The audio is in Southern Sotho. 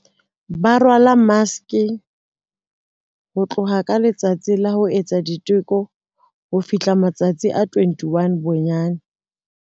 Ba rwala maske, ho tloha ka letsatsi la ho etsa diteko ho fihla matsatsi a 21 bonyane.